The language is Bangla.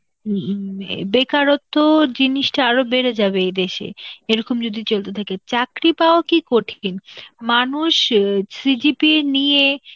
উম হম অ্যাঁ বেকারত্ব জিনিসটা আরও বেড়ে যাবে এদেশে, এরকম যদি চলতে থাকে. চাকরি পাওয়া কি কঠিন, মানুষ অ্যাঁ CGPA নিয়ে